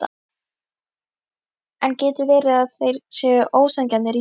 En getur verið að þeir séu ósanngjarnir í sínum kröfum?